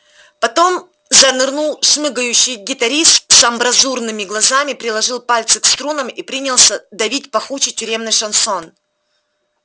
потом занырнул шмыгающий гитарист с амбразурными глазами приложил пальцы к струнам и принялся давить пахучий тюремный шансон